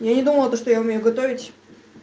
я не думала то что я умею готовить